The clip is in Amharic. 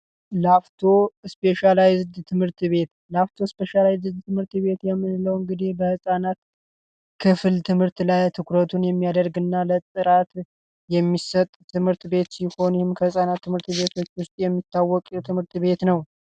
ላፍቶ ስፔሻላይዝድ ትምህርት ቤት ላፍቶ ትምህርት ቤት በህጻናት ክፍል ትምህርት ላይ ትኩረቱን የሚያደርግና ለጥራት የሚሰጥ ትምህርት ሲሆን የሚሰጥ ትምህርት ቤት ህጻናት ትምህርት ቤቶች የሚታወቁ የትምህርት ቤት ነው።